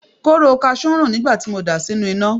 Kóóró kasú ń rùn nígbà tí mo dà á sínú iná.